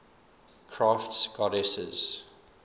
crafts goddesses